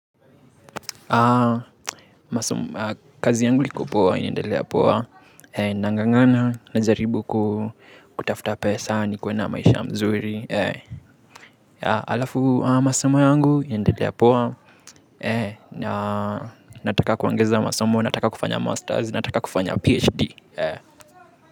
Kazi yangu iko poa inaendelea poa, nang'ang'ana najaribu kutafuta pesa nikuwe na maisha mzuri. Alafu masomo yangu inaendelea poa. Nataka kuongeza masomo, nataka kufanya masters, nataka kufanya phd.